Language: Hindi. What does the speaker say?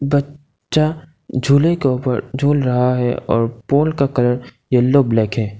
बच्चा झूले के ऊपर झूल रहा है और पोल का कलर येलो ब्लैक है।